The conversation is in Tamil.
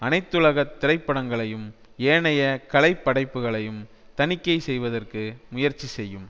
அனைத்துலக திரைப்படங்களையும் ஏனைய கலை படைப்புகளையும் தணிக்கை செய்வதற்கு முயற்சி செய்யும்